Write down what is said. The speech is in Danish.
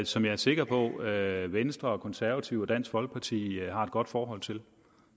som jeg er sikker på at venstre konservative og dansk folkeparti har et godt forhold til